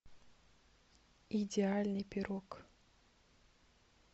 идеальный пирог